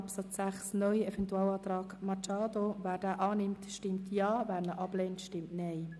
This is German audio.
Absatz 6 (neu) zustimmt, stimmt Ja, wer diesen ablehnt, stimmt Nein.